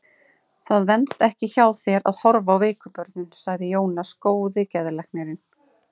Það venst ekki hjá þér að horfa á veiku börnin, sagði Jónas góði geðlæknir.